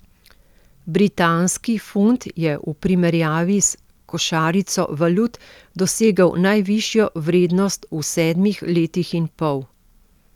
Britanski funt je v primerjavi s košarico valut dosegel najvišjo vrednost v sedmih letih in pol.